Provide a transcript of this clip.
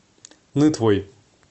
нытвой